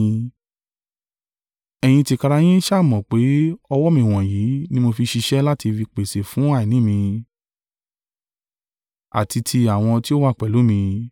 Ẹ̀yin tìkára yín sá à mọ̀ pé, ọwọ́ mi wọ̀nyí ni mo fi ṣiṣẹ́ láti fi pèsè fún àìní mi, àti tí àwọn tí ó wà pẹ̀lú mi.